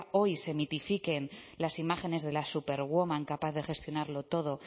hoy se mitifiquen las imágenes de la superwoman capaz de gestionarlo todo